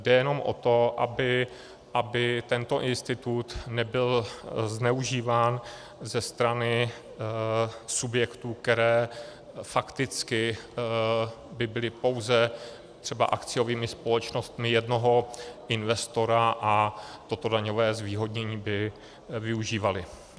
Jde jenom o to, aby tento institut nebyl zneužíván ze strany subjektů, které fakticky by byly pouze třeba akciovými společnostmi jednoho investora a toto daňové zvýhodnění by využívaly.